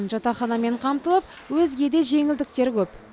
жатақханамен қамтылып өзге де жеңілдіктер көп